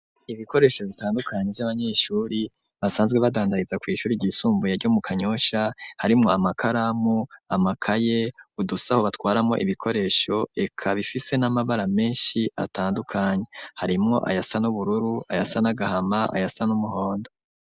Ibikoresho bitandukanyi vy'abanyeshuri basanzwe badandariza kw'ishuri ryisumvuye ryo mu kanyosha harimwo amakaramu amakaye udusaho batwaramo ibikoresho eka bifise n'amabara menshi atandukanyi harimwo aya sa n'ubururu aya sa n'agahama aya sa n'umuhondo.